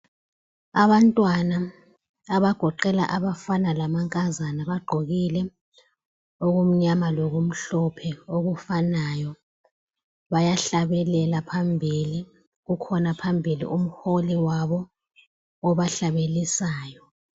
Abantwana abagoqela abafana lamankazana bagqokile okumnyama lokumhlophe okufanayo bayahlabelela phambili. Kukhona phambili umholi wabo obahlabelisayo.